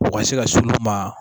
U ka se ka s'ulu ma